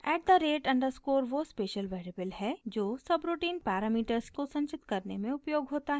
at the rate underscore वो special variable है जो सबरूटीन पैरामीटर्स को संचित करने में उपयोग होता है